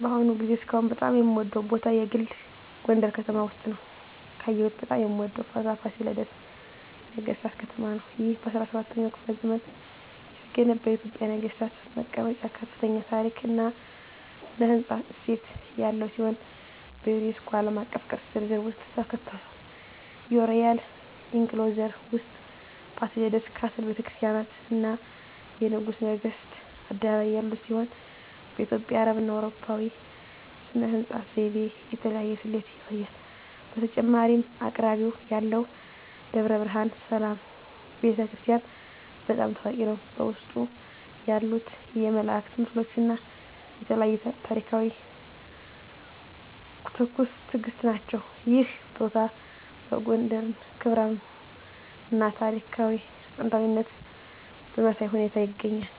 በአሁኑ ጊዜ እስካሁን በጣም የምወደዉ ቦታ የግል ጎንደረ ከተማ ውስጥ ነዉ። ካየሁት በጣም የምወደው ቦታ ፋሲለደስ የነገሥታት ከተማ ነው። ይህ በ17ኛው ክፍለ ዘመን የተገነባ የኢትዮጵያ ነገሥታት መቀመጫ ከፍተኛ የታሪክ እና ሥነ ሕንፃ እሴት ያለው ሲሆን፣ በዩኔስኮ ዓለም አቀፍ ቅርስ ዝርዝር ውስጥ ተካትቷል። የሮያል ኢንክሎዜር ውስጥ የፋሲለደስ ካስል፣ ቤተ ክርስቲያናት፣ እና የንጉሠ ነገሥቱ አደባባይ ያሉት ሲሆን፣ በኢትዮጵያ፣ አረብና አውሮፓዊ ሥነ ሕንፃ ዘይቤ የተለያየ ስሌት ያሳያል። በተጨማሪም አቅራቢያው ያለው ደብረ ብርሃን ሰላም ቤተ ክርስቲያን** በጣም ታዋቂ ነው፣ በውስጡ ያሉት የመላእክት ምስሎች እና የተለያዩ ታሪኳዊ ታሪኮች ትኩስ ትእግስት ናቸው። ይህ ቦታ የጎንደርን ክብራም እና ታሪካዊ ጥንታዊነት በሚያሳይ ሁኔታ ይገኛል።